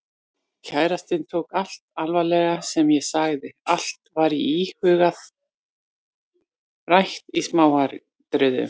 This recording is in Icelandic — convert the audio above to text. Kærastinn tók allt alvarlega sem ég sagði, allt var íhugað og rætt í smáatriðum.